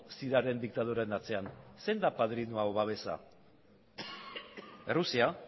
siriaren diktaduraren atzean zein da padrinoa edo babesa errusia